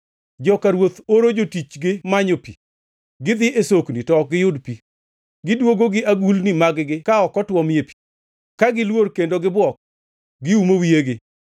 Joka ruoth oro jotichgi manyo pi; gidhi e sokni to ok giyud pi. Gidwogo gi agulni mag-gi ka ok otuome pi, ka giluor kendo gibuok, giumo wiyegi.